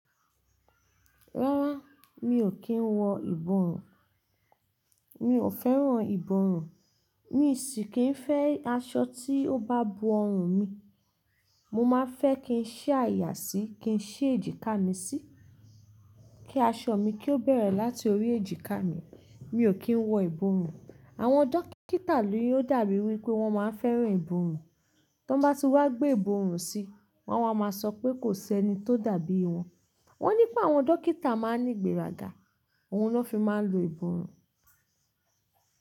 Rárá mi ò kí ń wọ ìbọrùn mi ò fẹ́ràn ìbọrùn. Mi sì kì n fẹ́ aṣọ tí ó bá bo ọrùn mi. Mo má fẹ́ kí n ṣẹ́ àyà sì kín ṣẹi èjìká mi sì kí aṣọ mi kí ó bẹ̀rẹ̀ láti orí èjìká mi. Mi ò kí ń wọ ìbọrùn. Àwọn dókítà ni ò dàbí wí pé wọ́n má ń fẹ́ràn ìbọrùn. Tọ n bá ti wá gbé ìbọrùn si wọ́n wa a máa sọ pé kò sí ẹni tó dàbí wọ́n. Wọ́n ní pé àwọn dókítà má ń ní ìgbéraga òun lọ́ fi máa ń lo ìbọrùn.